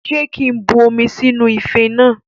Ṣé kí n bu omi sínú ife náà?